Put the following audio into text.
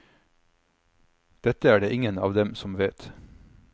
Dette er det ingen av dem som vet.